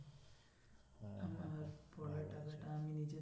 টাকাটা আমি নিয়েছি